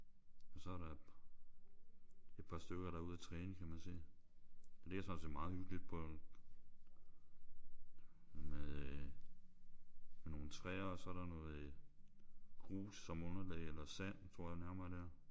Og så er der et par stykker der er ude at træne kan man se. Det ligger faktisk meget hyggeligt på en med øh med nogle træer og så er der noget grus som underlag eller sand tror jeg nærmere det er